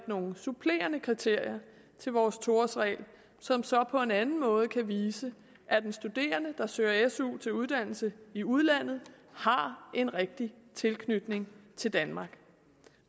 nogle supplerende kriterier til vores to årsregel som så på en anden måde kan vise at en studerende der søger su til uddannelse i udlandet har en rigtig tilknytning til danmark